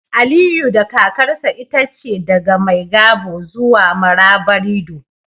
Aliyu da kakarsa itace daga Maigabo zuwa Marabarido